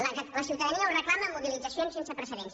la ciutadania ho reclama amb mobilitzacions sense precedents